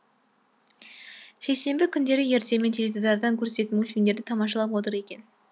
жексенбі күндері ертемен теледидардан көрсететін мультфильмдерді тамашалап отыр екен